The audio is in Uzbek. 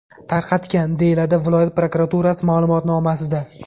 tarqatgan”, deyiladi viloyat prokuraturasi ma’lumotnomasida.